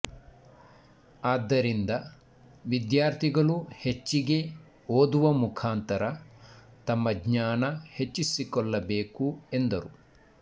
ಆದ್ದರಿಂದ ವಿದ್ಯಾರ್ಥಿಗಳು ಹೆಚ್ಚಿಗೆ ಓದುವ ಮುಖಾಂತರ ತಮ್ಮ ಜ್ಞಾನ ಹೆಚ್ಚಿಸಿಕೊಳ್ಳಬೇಕು ಎಂದರು